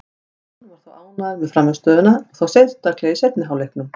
John var þó ánægður með frammistöðuna, og þá sérstaklega í seinni hálfleiknum.